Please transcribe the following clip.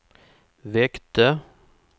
väckte